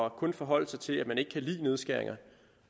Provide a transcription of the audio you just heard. og kun forholde sig til at man ikke kan lide nedskæringer